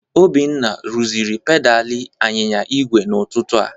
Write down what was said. Obinna rụziri pedalị anyịnya igwe n'ụtụtụ a.